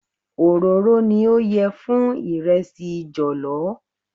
Òróró ni ó yẹ fún ìrẹsì jọ̀lọ́.